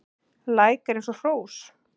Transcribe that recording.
Læk er eins og hrós